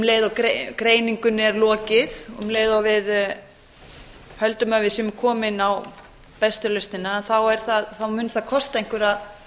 um leið og greiningunni er lokið um leið og við höldum að við séum komin á bestu lausnina að þá mun það kosta einhverjar